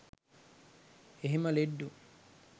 එහෙම ලෙඩ්ඩු